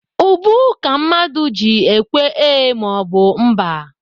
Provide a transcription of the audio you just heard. Ubu ka mmadụ ji ekwe ee maọbụ mba.